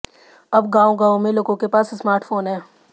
अब गांव गांव मे लोगों के पास स्मार्ट फोन है